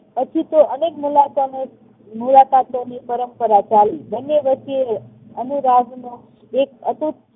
હજુ તો અનેક મુલાકાતોની પરંપરા ચાલી. બંને વચ્ચે અનુવાદનો એક અતૂટ